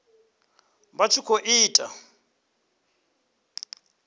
vha tshi khou i ita